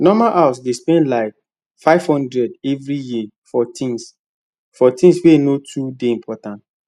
normal house dey spend like 500 every year for things for things wey no too dey important